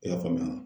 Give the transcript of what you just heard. I y'a faamuya